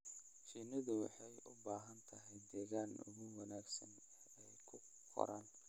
Shinnidu waxay u baahan tahay deegaanka ugu wanaagsan ee ay ku koraan.